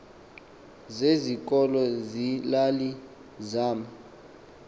zezikolo zeelali zama